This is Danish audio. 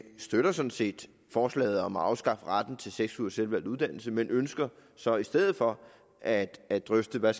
støtter sådan set forslaget om at afskaffe retten til seks ugers selvvalgt uddannelse men ønsker så i stedet for at at drøfte hvad